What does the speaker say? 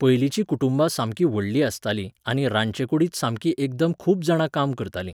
पयलींचीं कुटुंबां सामकी व्हडलीं आसतालीं आनी रांदचे कुडींत सामकीं एकदम खूब जाणां काम करतालीं.